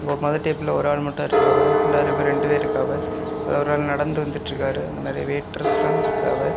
ஒ மொதடேபிள்ல ஒரு ஆள் மட்டும் இருக்காவ ரெண்டாவது டேபிள்ல ரெண்டு பேர் இருக்காவ அதுல ஒரு ஆள் நடந்து வந்துட்ருக்காரு அங்க நறைய வெயிட்டர்ஸெல்லா இருக்காவ.